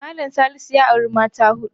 Mallam Salisu ya auri mata huɗu.